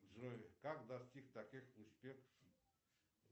джой как достиг таких успехов